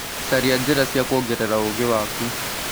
Caria njĩra cia kuongerera ũũgĩ waku.